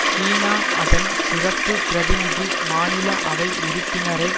சீனா அதன் சிறப்பு பிரதிநிதி மாநில அவை உறுப்பினரை